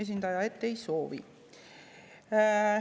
Esindaja vastas, et ei soovi.